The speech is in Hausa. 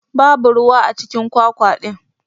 Babu ruwa acikin kwakwa din.